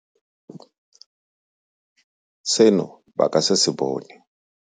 Seno ba ka se se bone.